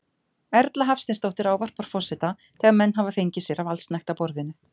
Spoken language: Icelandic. Erla Hafsteinsdóttir ávarpar forseta þegar menn hafa fengið sér af allsnægtaborðinu.